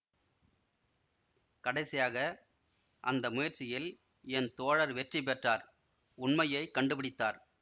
கடைசியாக அந்த முயற்சியில் என் தோழர் வெற்றி பெற்றார் உண்மையை கண்டுபிடித்தார்